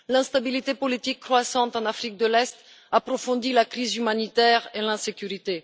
L'instabilité politique croissante en Afrique de l'Est approfondit la crise humanitaire et l'insécurité.